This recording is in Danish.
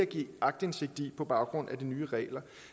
give aktindsigt i på baggrund af de nye regler